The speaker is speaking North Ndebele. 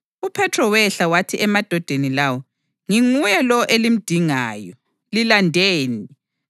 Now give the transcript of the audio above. UPhethro wehla wathi emadodeni lawo, “Nginguye lowo elimdingayo. Lilandeni?”